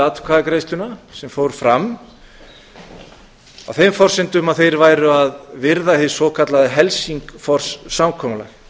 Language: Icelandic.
atkvæðagreiðsluna sem fór fram á þeim forsendum að þeir væru að virða hið svokallaða helsingfors samkomulag